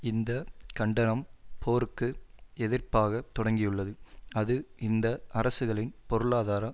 இந்த கண்டனம் போருக்கு எதிர்ப்பாக தொடங்கியுள்ளது அது இந்த அரசுகளின் பொருளாதார